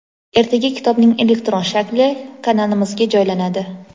ertaga kitobning elektron shakli kanalimizga joylanadi.